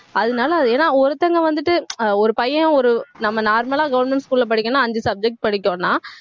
அதனால அது ஏன்னா ஒருத்தவங்க வந்துட்டு ஆஹ் ஒரு பையன் ஒரு நம்ம normal லா government school ல படிக்கணும்ன்னா ஐந்து subject படிக்கணும்னா